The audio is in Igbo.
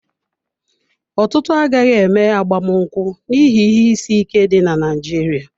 Ọtụtụ agaghị eme agbamakwụkwọ n'ihi ihe isi ike dị na Naịjirịa.